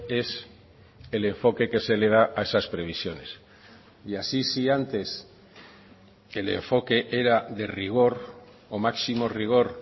es el enfoque que se le da a esas previsiones y así si antes el enfoque era de rigor o máximo rigor